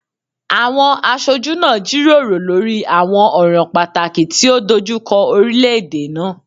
Awọn aṣoju naa jiroro lori awọn ọran pataki ti o dojukọ orilẹ-ede naa